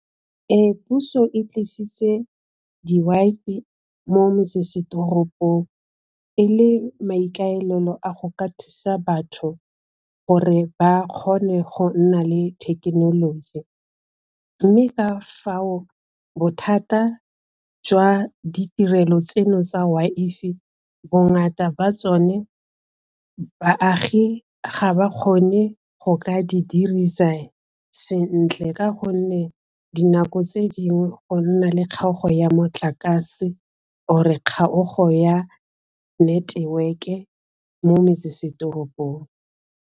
Puso e tlisitse di mo metsesetoropong, e le maikaelelo a go ka thusa batho gore ba kgone go nna le thekenoloji mme ka fao bothata jwa ditirelo tseno tsa bongata ba tsone baagi ga ba kgone go ka di dirisa sentle ka gonne dinako tse dingwe go nna le kgaogo ya motlakase or kgaoganyo ya network-e mo metsesetoropong.